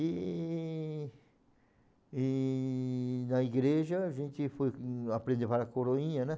E e na igreja a gente foi aprender para a coroinha, né?